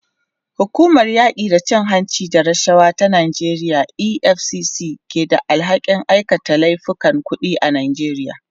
Hukumar yaki da cin hanci da rashawa ta Najeriya EFCC ce ke da alhakin aikata laifukan kudi a Najeriya.